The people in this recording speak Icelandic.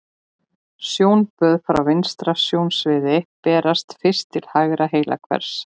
Sjónboð frá vinstra sjónsviði berast fyrst til hægra heilahvels.